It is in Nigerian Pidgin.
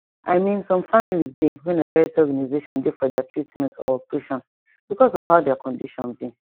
i mean some families dey wey na charity organisaion dey for deir treatment or operation because of how deir condition be